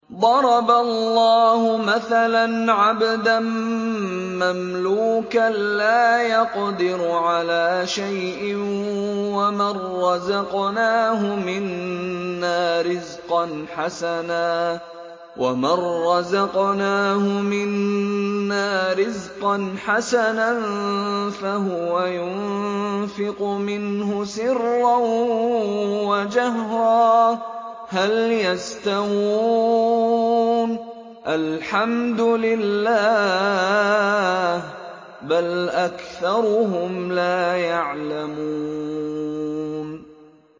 ۞ ضَرَبَ اللَّهُ مَثَلًا عَبْدًا مَّمْلُوكًا لَّا يَقْدِرُ عَلَىٰ شَيْءٍ وَمَن رَّزَقْنَاهُ مِنَّا رِزْقًا حَسَنًا فَهُوَ يُنفِقُ مِنْهُ سِرًّا وَجَهْرًا ۖ هَلْ يَسْتَوُونَ ۚ الْحَمْدُ لِلَّهِ ۚ بَلْ أَكْثَرُهُمْ لَا يَعْلَمُونَ